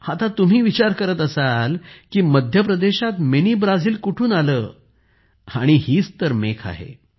आता तुम्ही विचार करत असाल की मध्य प्रदेशात मिनी ब्राझील कुठून आले हीच तर गंमत आहे